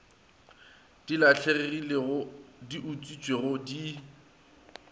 di lahlegilego di utswitšwego di